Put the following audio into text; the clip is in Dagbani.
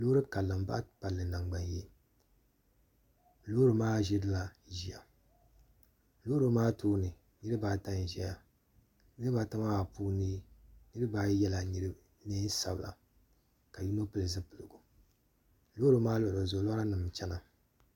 Loori karili n baɣa palli nangbani yee loori maa ʒila ʒiya loori maa tooni niraba ata n ʒiya niraba ata maa puuni niraba ayi yɛla neen sabila ka yino pili zipiligu loori maa luɣuli zuɣu lora nim n chɛna